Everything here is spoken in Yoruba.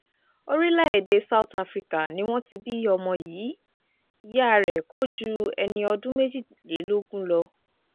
orílẹ̀-èdè south africa ni wọ́n ti bí ọmọ yìí ìyá rẹ̀ kó ju ẹni ọdún méjìlélógún lọ